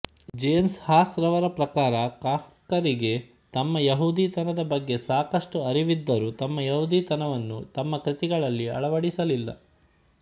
James Hawes ರವರ ಪ್ರಕಾರ ಕಾಫ್ಕರಿಗೆ ತಮ್ಮ ಯಹೂದಿತನದ ಬಗ್ಗೆ ಸಾಕಷ್ಟು ಅರಿವಿದ್ದರೂ ತಮ್ಮ ಯಹೂದಿತನವನ್ನು ತಮ್ಮ ಕೃತಿಗಳಲ್ಲಿ ಅಳವಡಿಸಲಿಲ್ಲ